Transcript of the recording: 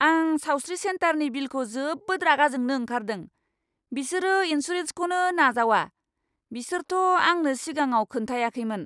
आं सावस्रि सेन्टारनि बिलखौ जोबोद रागा जोंनो ओंखारदों, बिसोरो इनसुरेन्सखौनो नाजावा, बिसोरथ' आंनो सिगाङाव खोन्थायाखैमोन।